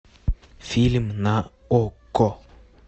фильм на окко